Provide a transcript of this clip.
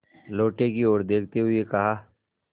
लोटे की ओर देखते हुए कहा